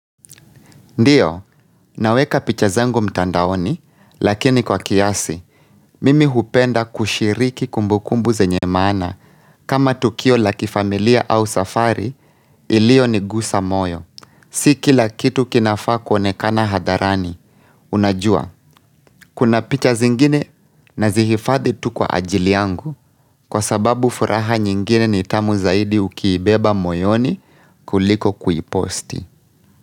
Ndio, naweka picha zangu mtandaoni, lakini kwa kiasi, mimi hupenda kushiriki kumbukumbu zenye maana kama tukio la kifamilia au safari iliyonigusa moyo. Si kila kitu kinafaa kuonekana hadharani, unajua, kuna picha zingine nazihifadhi tu kwa ajili yangu kwa sababu furaha nyingine ni tamu zaidi ukiibeba moyoni kuliko kuiposti.